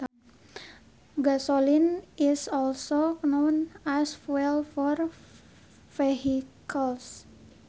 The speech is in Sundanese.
Gasoline is also known as fuel for vehicles